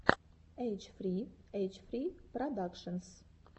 эйч фри эйч фри продакшенс